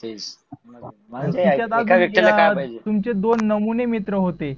तुमुचे दोन नमुने मित्र होते.